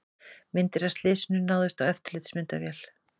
Myndir af slysinu náðust á eftirlitsmyndavél